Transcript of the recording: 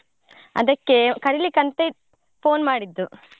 ಅದಕ್ಕೆ ಕರೀಲಿಕ್ಕೆ ಅಂತ ಇತ್~ phone ಮಾಡಿದ್ದು.